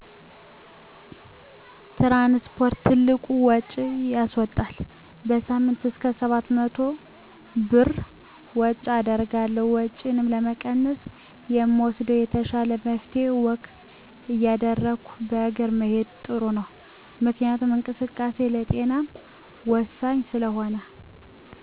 ትራንስፖርት ትልቅ ውጭ ያስዎጣል። በሳምንይ እስከ 700 ብር ወጭ አደርጋለሁ። ወጭንም ለመቀነስ የምወስደው የተሻለው መፍትሄ ወክ እያደረጉ በእግር መሄድ ጥሩ ነው። ምክንያቱም እንቅስቃሴ ለጤናም ወሳኝ ስለሆነ።